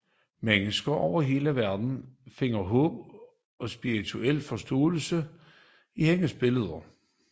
Mennesker over hele verden finder håb og spirituel forståelse i hendes billeder